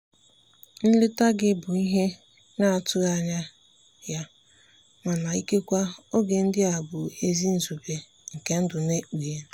nleta gị bụ ihe a na-atụghị anya ya mana ikekwe oge ndị a bụ ezi nzube nke ndụ na-ekpughe.